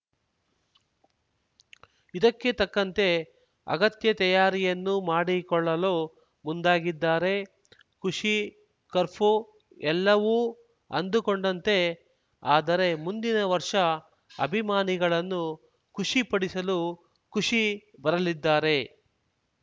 ಇದಕ್ಕೆ ತಕ್ಕಂತೆ ಅಗತ್ಯ ತಯಾರಿಯನ್ನೂ ಮಾಡಿಕೊಳ್ಳಲು ಮುಂದಾಗಿದ್ದಾರೆ ಖುಷಿ ಕರ್ಪೂ ಎಲ್ಲವೂ ಅಂದುಕೊಂಡಂತೆ ಆದರೆ ಮುಂದಿನ ವರ್ಷ ಅಭಿಮಾನಿಗಳನ್ನು ಖುಷಿಪಡಿಸಲು ಖುಷಿ ಬರಲಿದ್ದಾರೆ